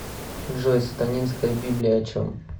джой сатанинская библия о чем